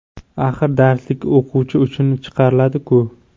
Axir darslik o‘quvchi uchun chiqariladi-ku?